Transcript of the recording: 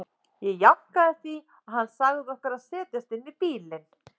Ég jánkaði því og hann sagði okkur að setjast inn í bílinn.